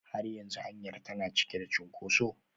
Har yanzu hanyar tana cike da cunkoso?